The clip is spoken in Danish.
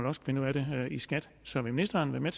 også finde ud af det i skat så vil ministeren være med